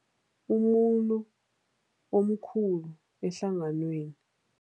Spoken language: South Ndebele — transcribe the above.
Umuntu omkhulu ehlanganweni.